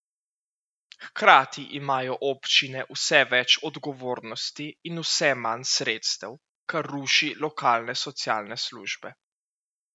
Hkrati imajo občine vse več odgovornosti in vse manj sredstev, kar ruši lokalne socialne službe.